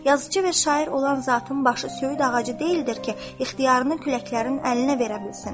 Yazıçı və şair olan zatın başı söyüd ağacı deyildir ki, ixtiyarını küləklərin əlinə verə bilsin.